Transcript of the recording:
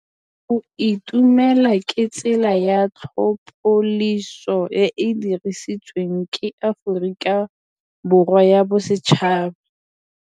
Go itumela ke tsela ya tlhapolisô e e dirisitsweng ke Aforika Borwa ya Bosetšhaba.